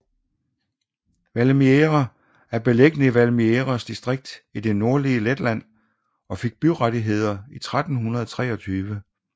Valmiera er beliggende i Valmieras distrikt i det nordlige Letland og fik byrettigheder i 1323